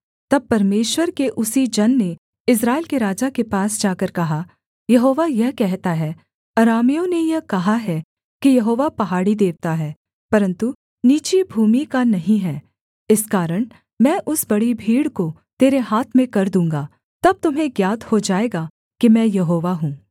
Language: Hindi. तब परमेश्वर के उसी जन ने इस्राएल के राजा के पास जाकर कहा यहोवा यह कहता है अरामियों ने यह कहा है कि यहोवा पहाड़ी देवता है परन्तु नीची भूमि का नहीं है इस कारण मैं उस बड़ी भीड़ को तेरे हाथ में कर दूँगा तब तुम्हें ज्ञात हो जाएगा कि मैं यहोवा हूँ